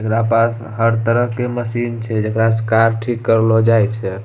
एकरा पास हर तरह के मशीन छे जेकरा से कार ठीक करलो जाई छे।